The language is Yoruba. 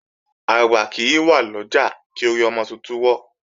Àgbà kì í wà lọ́jà, kí orí ọmọ titun wọ́.